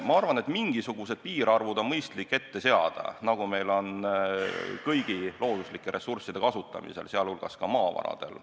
Ma arvan, et mingisugused piirarvud on mõistlik ette seada, nagu meil on kõigi looduslike ressursside kasutamisel, sh maavaradel.